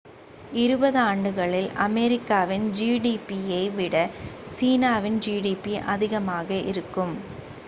இருபதாண்டுகளில் அமெரிக்காவின் gdp யை விட சீனாவின் gdp அதிகமாக இருக்கும்